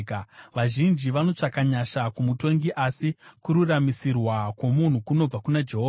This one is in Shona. Vazhinji vanotsvaka nyasha kumutongi, asi kururamisirwa kwomunhu kunobva kuna Jehovha.